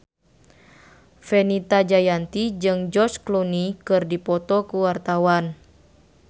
Fenita Jayanti jeung George Clooney keur dipoto ku wartawan